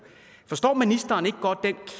forstår ministeren ikke godt den